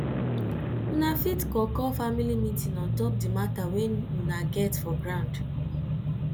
una fit call call family meeting on top di matter wey una get for ground